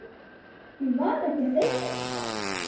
Því var ekki að heilsa.